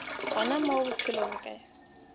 gona mo bophelong bja ka